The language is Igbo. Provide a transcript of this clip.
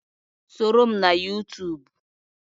Soro m na Yuutuub.